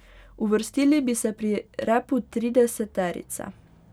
Uvrstili bi se pri repu trideseterice.